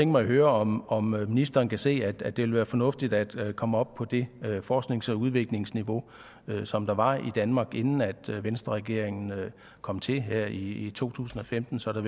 mig at høre om om ministeren kan se at det vil være fornuftigt at komme op på det forsknings og udviklingsniveau som der var i danmark inden venstreregeringen kom til her i to tusind og femten sådan